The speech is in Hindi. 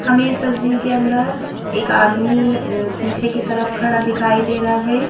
हमें इस तस्वीर के अंदर एक आदमी पीछे की तरफ खड़ा दिखाई दे रहा है।